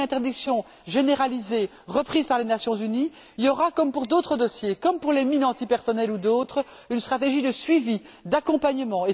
S'il y a une interdiction généralisée, reprise par les Nations unies, il y aura, comme pour d'autres dossiers, comme pour les mines antipersonnel ou d'autres, une stratégie de suivi, d'accompagnement.